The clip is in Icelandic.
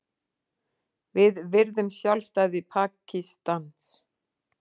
Við virðum sjálfstæði Pakistans